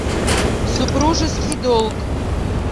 супружеский долг